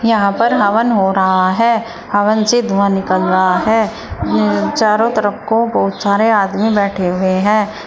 यहां पर हवन हो रहा है हवन से धुआं निकल रहा है उम्म चारों तरफ को बहुत सारे आदमी बैठे हुए हैं।